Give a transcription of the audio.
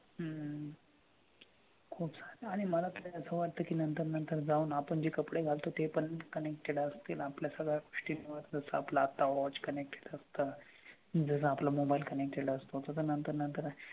हम्म खूप छान आहे आणि मला तर असं वाटतं की ना नंतर नंतर जाऊन आपण जे कपडे घालतो ते पण connected असतील आपल्या सगळ्या गोष्टींवर जसं आपलं आता watch connected असतं. ज्याला आपला mobile connected असतो तसं नंतर नंतर,